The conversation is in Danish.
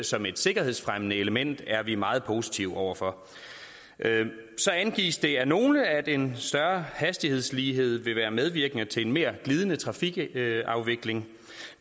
som et sikkerhedsfremmende element er vi meget positive over for så angives det af nogle at en større hastighedslighed vil være medvirkende til en mere glidende trafikafvikling